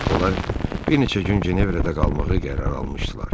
Onlar bir neçə gün Cenevrədə qalmağı qərar almışdılar.